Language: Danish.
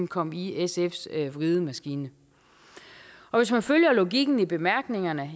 komme i sfs vridemaskine hvis man følger logikken i bemærkningerne